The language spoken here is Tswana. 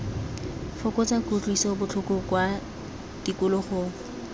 fokotsa kutlwiso botlhoko kwa tikologong